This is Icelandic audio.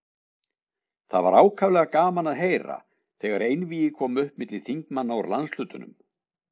Það var ákaflega gaman að heyra, þegar einvígi kom upp milli þingmanna úr landshlutunum.